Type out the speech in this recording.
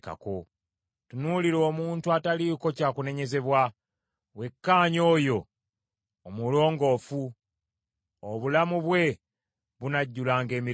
Tunuulira omuntu ataliiko kya kunenyezebwa, wekkaanye oyo omulongoofu; obulamu bwe bunajjulanga emirembe.